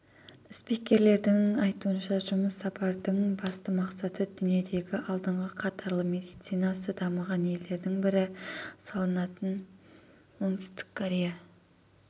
спикерлердің айтуынша жұмыс сапардың басты мақсаты дүниедегі алдыңғы қатарлы медицинасы дамыған елдердің бірі саналатын оңтүстік корея